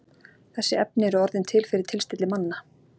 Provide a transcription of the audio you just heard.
Þessi efni eru orðin til fyrir tilstilli manna.